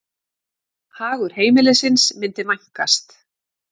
Hagur heimilisins myndi vænkast.